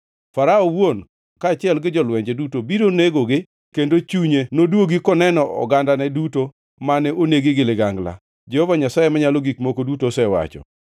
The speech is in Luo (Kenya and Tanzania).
“Farao owuon, kaachiel gi jolwenje duto biro nenogi kendo chunye nodwogi koneno ogandane duto mane onegi gi ligangla, Jehova Nyasaye Manyalo Gik Moko Duto osewacho.